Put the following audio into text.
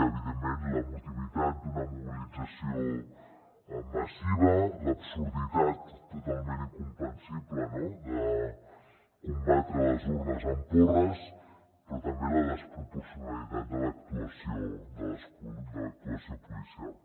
evidentment l’emotivitat d’una mobilització massiva l’absurditat totalment incomprensible de combatre les urnes amb porres però també la desproporcionalitat de l’actuació policial